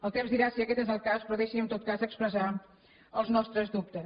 el temps dirà si aquest és el cas però deixi’m en tot cas expressar els nostres dubtes